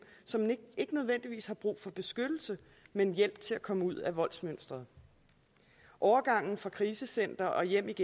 som ikke nødvendigvis har brug for beskyttelse men hjælp til at komme ud af voldsmønsteret overgangen fra krisecenteret